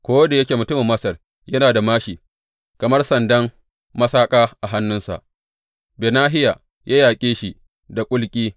Ko da yake mutumin Masar yana da māshi kamar sandan masaƙa a hannunsa, Benahiya ya yaƙe shi da kulki.